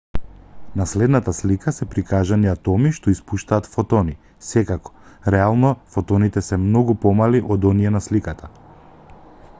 на следната слика се прикажани атоми што испуштаат фотони секако реално фотоните се многу помали од оние на сликата